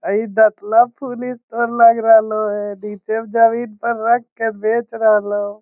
इ food store लग रहलो ये नीचे में जमीन पर रख के बेच रहलो।